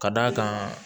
Ka d'a kan